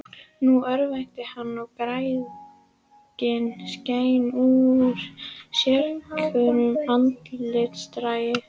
Nú örvænti hann, og græðgin skein úr sérhverjum andlitsdrætti.